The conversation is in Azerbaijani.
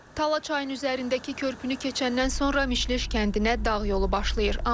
Tala çayın üzərindəki körpünü keçəndən sonra Mişleş kəndinə dağ yolu başlayır.